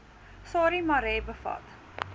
sarie marais bevat